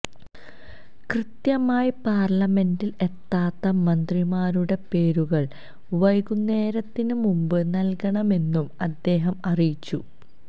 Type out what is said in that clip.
കൃത്യമായി പാര്ലമെന്റില് എത്താത്ത മന്ത്രിമാരുടെ പേരുകള് വൈകുന്നേരത്തിന് മുമ്പ് നല്കണമെന്നും അദ്ദേഹം അറിയിച്ചു